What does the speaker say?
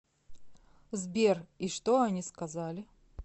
сбер и что они сказали